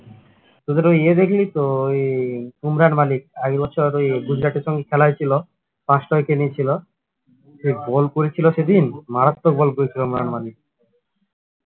তোদের ওই ইয়ে দেখলি তো ওই বোমরার মালিক এই বছর ওই গুজরাটের সঙ্গে খেলা হয়েছিল পাঁচটা wicket নিয়েছিল যে ball করেছিল সেদিন মারাত্মক বল করেছিল মানে